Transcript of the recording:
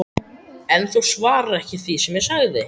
En þú svarar ekki því sem ég sagði